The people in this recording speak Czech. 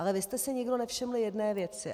Ale vy jste si nikdo nevšiml jedné věci.